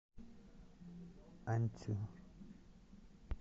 аньцю